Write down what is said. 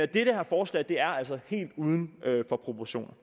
det her forslag er altså helt uden proportioner